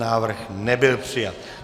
Návrh nebyl přijat.